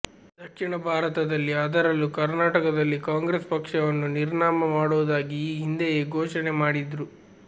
ದಕ್ಷಿಣ ಭಾರತದಲ್ಲಿ ಅದರಲ್ಲೂ ಕರ್ನಾಟಕದಲ್ಲಿ ಕಾಂಗ್ರೆಸ್ ಪಕ್ಷವನ್ನು ನಿರ್ನಾಮ ಮಾಡೋದಾಗಿ ಈ ಹಿಂದೆಯೇ ಘೋಷಣೆ ಮಾಡಿದ್ರು